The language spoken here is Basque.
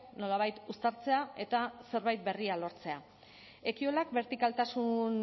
nolabait uztartzea eta zerbait berria lortzea ekiolak bertikaltasuna